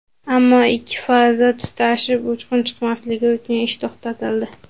Ammo ikki faza tutashib uchqun chiqmasligi uchun ish to‘xtatildi.